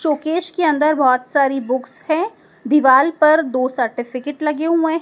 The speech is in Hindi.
शोकेस के अंदर बहोत सारी बुक्स है दीवाल पर दो सर्टिफिकेट लगे हुए--